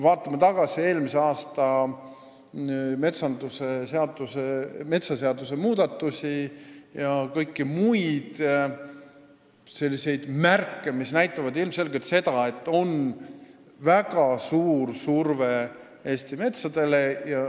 Vaatame tagasi eelmise aasta metsaseaduse muudatustele, vaatame kõiki muid märke, mis näitavad ilmselgelt seda, et on väga suur surve Eesti metsale.